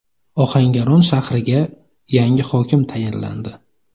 Ohangaron shahriga yangi hokim tayinlandi.